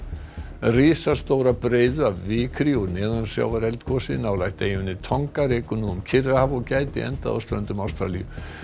risastóra breiðu af vikri úr neðansjávareldgosi nálægt eyjunni Tonga rekur nú um Kyrrahaf og gæti endað á ströndum Ástralíu